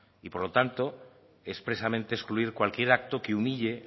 y por lo tanto expresamente excluir cualquier acto que humille